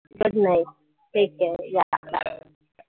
Good night take care yeah